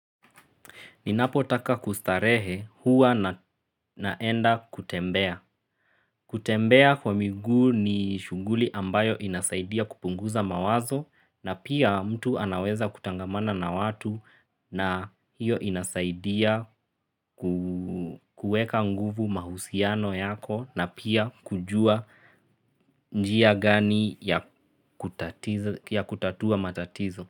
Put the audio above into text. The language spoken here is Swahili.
Ninapo taka kustarehe huwa naenda kutembea. Kutembea kwa miguu ni shunguli ambayo inasaidia kupunguza mawazo na pia mtu anaweza kutangamana na watu na hiyo inasaidia kuweka nguvu mahusiano yako na pia kujua njia gani ya kutatua matatizo.